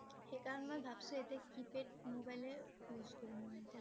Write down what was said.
সেইকাৰণে মই ভাবিছোঁ এতিয়া keypad mobile এ use কৰিম মই ।